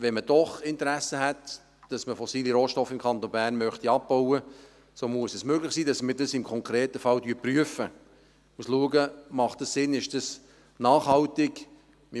Wenn man doch ein Interesse hätte und fossile Rohstoffe im Kanton Bern abbauen wollte, so müsste es möglich sein, dass wir dies im konkreten Fall prüfen, schauen, ob es Sinn macht und ob es nachhaltig ist.